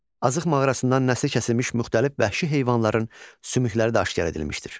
Azıq mağarasından nəsli kəsilmiş müxtəlif vəhşi heyvanların sümükləri də aşkar edilmişdir.